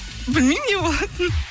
білмеймін не болатынын